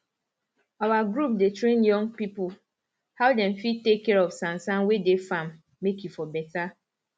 our group dey train young pipo how dem fir take care of sansan wey dey farm make e for beta